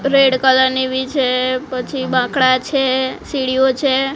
Red colour ની ભી છે પછી બાંકડા છે સીડીઓ છે.